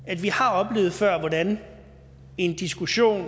at vi har oplevet før hvordan en diskussion a